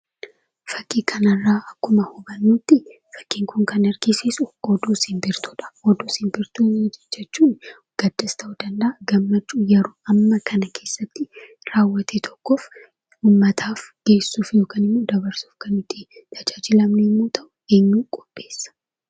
Fakkii kanarraa akkuma hubannutti fakkiin kun kan argisiisu oduu simbirtuudha. Oduu simbirtuu jechuun gaddas ta'uu danda'a gammachuu yeroo hamma kana keessatti raawwate tokkoof uummataaf geessuuf yookiin dabarsuuf kan itti tajaajilamnu yommuu ta'u, eenyutu qopheessa?